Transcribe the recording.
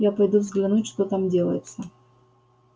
я пойду взглянуть что там делается